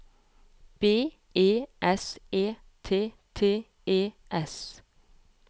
B E S E T T E S